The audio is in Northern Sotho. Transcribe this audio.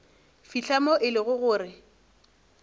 fihla moo e lego gore